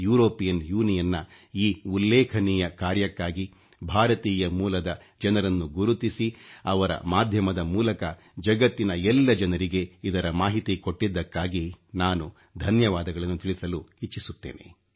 European Union ನ ಈ ಉಲ್ಲೇಖನೀಯ ಕಾರ್ಯಕ್ಕಾಗಿ ಭಾರತೀಯ ಮೂಲದ ಜನರನ್ನು ಗುರುತಿಸಿ ಅವರ ಮಾಧ್ಯಮದ ಮೂಲಕ ಜಗತ್ತಿನ ಎಲ್ಲ ಜನರಿಗೆ ಇದರ ಮಾಹಿತಿ ಕೊಟ್ಟಿದ್ದಕ್ಕಾಗಿ ನಾನು ಧನ್ಯವಾದಗಳನ್ನು ತಿಳಿಸಲು ಇಚ್ಚಿಸುತ್ತೇನೆ